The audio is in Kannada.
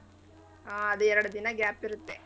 ಹಾ ಅದೇ ಎರಡ್ದಿನ gap ಇರುತ್ತೆ.